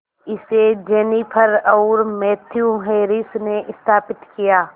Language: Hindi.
इसे जेनिफर और मैथ्यू हैरिस ने स्थापित किया